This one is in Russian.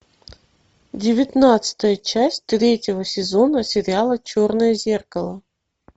девятнадцатая часть третьего сезона сериала черное зеркало